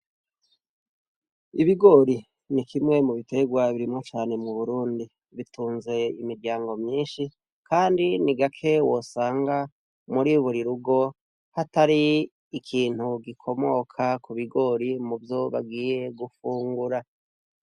Ibigori ni kimwe mu biterwa birimwa cane mu burundi bitunze imiryango myinshi, kandi ni gake wosanga muri burirugo hatari ikintu gikomoka ku bigori muvyobagiye gufungura.